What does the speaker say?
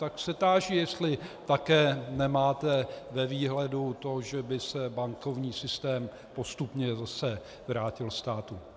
Tak se táži, jestli také nemáte ve výhledu to, že by se bankovní systém postupně zase vrátil státu.